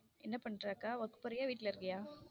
என்ன பண்ற அக்கா work போரிய வீட்ல இருக்கியா?